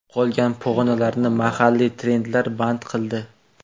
Qolgan pog‘onalarni mahalliy trendlar band qildi.